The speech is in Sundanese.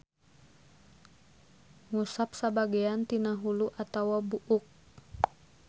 Ngusap sabagean tina hulu atawa buuk.